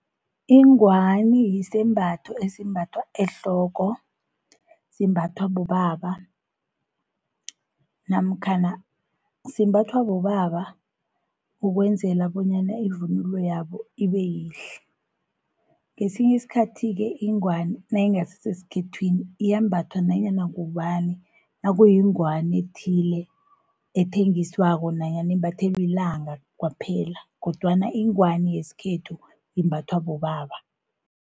Ingwani yisembatho esimbathwa ehloko, simbathwa bobaba, namkhana simbathwa bobaba ukwenzela bonyana ivunulo yabo ibeyihle. Ngesinyi isikhathi-ke ingwani nayingasiseskhethwini iyambathwa nanyana ngubani. Nakuyingwani ethile ethengiswako, nanyana imbathelwi ilanga kwaphela, kodwana ingwani yeskhethu imbathwa bobaba.